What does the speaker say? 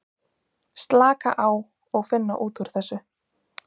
Slaka á og finna út úr þessu.